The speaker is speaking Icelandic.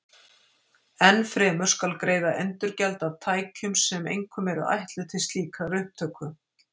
Enn fremur skal greiða endurgjald af tækjum sem einkum eru ætluð til slíkrar upptöku.